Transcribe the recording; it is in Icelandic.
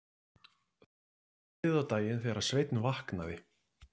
Það var langt liðið á daginn þegar Sveinn vaknaði.